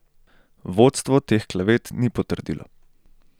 Vodstvo teh klevet ni potrdilo.